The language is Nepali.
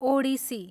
ओडिसी